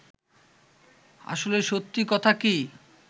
আসলে সত্যি কথা কী